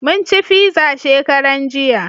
Mun ci fiza shekaran jiya